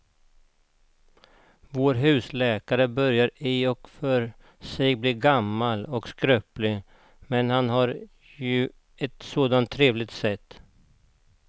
Vår husläkare börjar i och för sig bli gammal och skröplig, men han har ju ett sådant trevligt sätt!